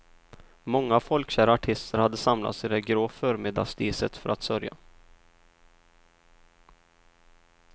Många folkkära artister hade samlats i det grå förmiddagsdiset för att sörja.